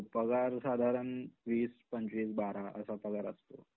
हो पगार साधारण वीस, पंचवीस, बारा असा पगार असतो.